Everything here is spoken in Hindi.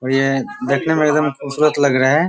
और ये देखने में एकदम खुबसूरत लग रहा है।